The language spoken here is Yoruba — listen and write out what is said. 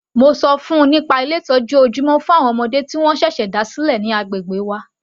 Mo ṣọ fún -un nípa Ilé ìtọ́jú ojúmọ́ fún àwọn ọmọdé tí wọ́n ṣẹ̀ṣẹ̀ dá sílẹ̀ ní agbègbè wa.